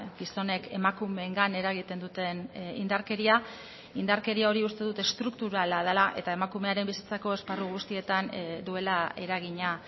gizonek emakumeengan eragiten duten indarkeria indarkeria hori uste dut estrukturala dela eta emakumearen bizitzako esparru guztietan duela eragina